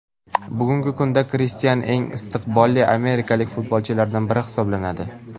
Bugungi kunda Kristian eng istiqbolli amerikalik futbolchilardan biri hisoblanadi.